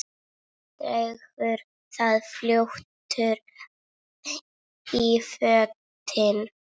Drengur var fljótur í fötin.